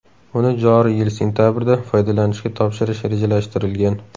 Uni joriy yil sentabrda foydalanishga topshirish rejalashtirilgan.